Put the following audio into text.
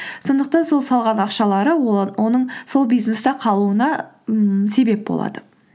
сондықтан сол салған ақшалары оның сол бизнесте қалуына ммм себеп болады